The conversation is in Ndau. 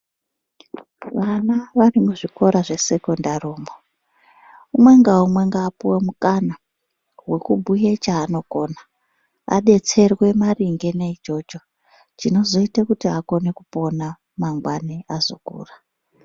Vana varimuzvikora zvesekondari umwo, umwe ngaumwe ngaapuwe mukana wekubhuye chaanokona, adetserwe maringe neichocho chinozoite kuti akone kupona mangwanani ,azokura.